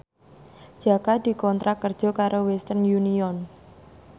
Jaka dikontrak kerja karo Western Union